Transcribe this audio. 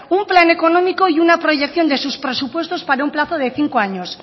un plan económico y una proyección de sus presupuestos para un plazo de cinco años